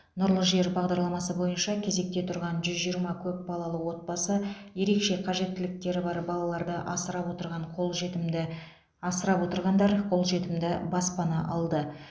нұрлы жер бағдарламасы бойынша кезекте тұрған жүз жиырма көпбалалы отбасы ерекше қажеттіліктері бар балаларды асырап отырған қолжетімді асырап отырғандар қолжетімді баспана алды